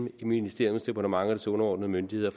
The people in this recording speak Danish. et ministeriums departement og dets underordnede myndigheder